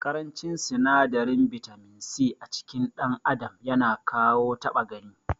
Ƙarancin sinadarin bitamin C acikin dan adam yana kawo ta6a gani.